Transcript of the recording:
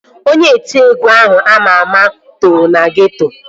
Onye otiegwu ahụ ama ama too na geeto